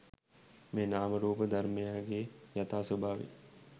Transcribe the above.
මේ නාම රූප ධර්මයන්ගේ යථා ස්වභාවය